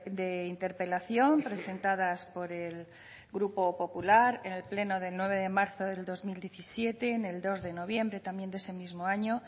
de interpelación presentadas por el grupo popular en el pleno del nueve de marzo del dos mil diecisiete en el dos de noviembre también de ese mismo año